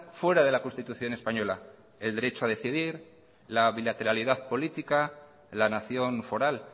fuera de la constitución española el derecho a decidir la bilateralidad política la nación foral